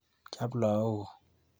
Cham lagokuk.